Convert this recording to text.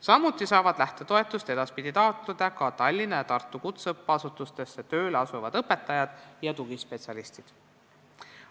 Samuti saavad lähtetoetust edaspidi taotleda Tallinna ja Tartu kutseõppeasutustesse tööle asuvad õpetajad ja tugispetsialistid.